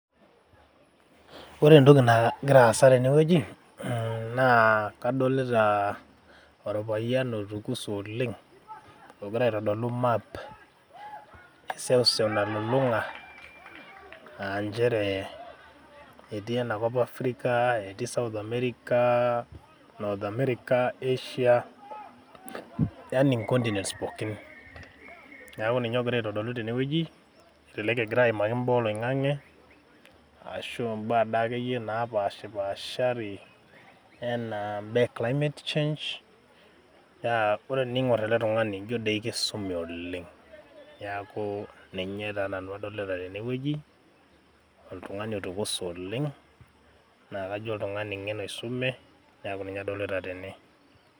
ore entoki nagira aasa tenewueji naa kadolita orpayian otukuse oleng ogira aitodolu map eseuseu nalulung'a aa nchere etii enakop africa, etii south america, North america, Asia yani inkontinents pookin neaku ninye ogira aitodolu tenewueji elelek egira aimaki imbaa oloing'ang'e ashu imbaa dakeyie napashipashari enaa imbaa e climate change naa ore tening'orr ele tung'ani injio doi kisume oleng niaku ninye taa nanu adolita tenewueji oltung'uni otukuse oleng naa kajo oltung'ani ng'en oisume niaku ninye adolita tene.